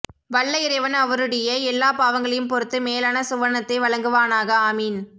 வல்ல இறைவன் அவருடிய எல்லா பாவங்களையும் பொருத்து மேலான சுவனத்தை வழங்குவானாக ஆமீன்